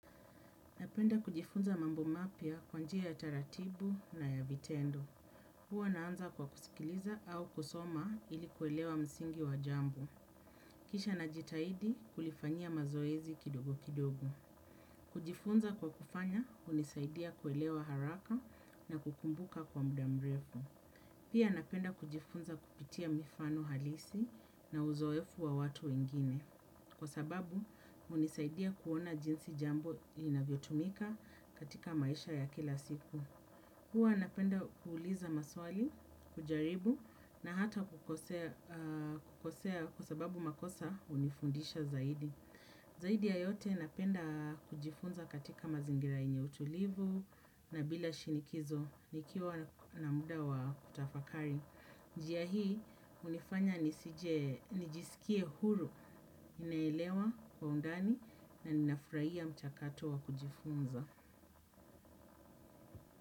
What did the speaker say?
Napenda kujifunza mambo mapya kwanjia ya taratibu na ya vitendo. Huwa naanza kwa kusikiliza au kusoma ili kuelewa msingi wa jambo kisha najitahidi kulifanyia mazoezi kidogo kidogo. Kujifunza kwa kufanya hunisaidia kuelewa haraka na kukumbuka kwa muda mrefu. Pia napenda kujifunza kupitia mifano halisi na uzoefu wa watu wengine. Kwa sababu, hunisaidia kuona jinsi jambo linavyotumika katika maisha ya kila siku. Hua napenda kuuliza maswali, kujaribu na hata kukosea kwa sababu makosa hunifundisha zaidi. Zaidi ya yote napenda kujifunza katika mazingira yenye utulivu na bila shinikizo nikiwa na muda wa kutafakari. Njia hii hunifanya nijisikie huru ninaelewa kwa undani na ninafurahia mchakato wa kujifunza.